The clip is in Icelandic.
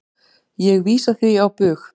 Ég vísa því á bug.